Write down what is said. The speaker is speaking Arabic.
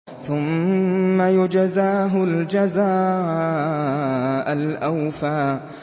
ثُمَّ يُجْزَاهُ الْجَزَاءَ الْأَوْفَىٰ